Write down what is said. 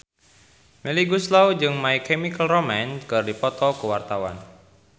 Melly Goeslaw jeung My Chemical Romance keur dipoto ku wartawan